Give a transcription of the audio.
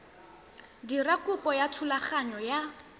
dira kopo ya thulaganyo ya